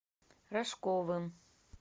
рожковым